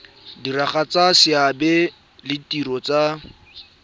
diragatsa seabe le ditiro tsa